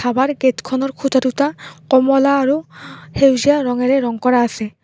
আমাৰ গেটখনৰ খুঁটা দুটা কমলা আৰু সেউজীয়া ৰঙেৰে ৰং কৰা আছে।